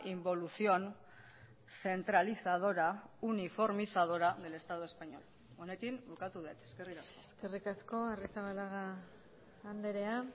involución centralizadora uniformizadora del estado español honekin bukatu dut eskerrik asko eskerrik asko arrizabalaga andrea